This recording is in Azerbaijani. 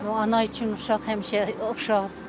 Ana üçün uşaq həmişə uşaqdır da.